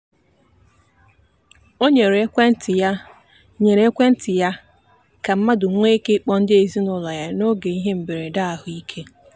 o nyere ekwentị ya nyere ekwentị ya ka mmadụ nwee ike ịkpọ ndị ezinụụlọ ya n'oge ihe mberede ahụike.